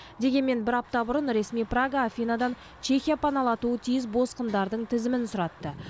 дегенмен бір апта бұрын ресми прага афинадан чехия паналатуы тиіс босқындардың тізімін сұратты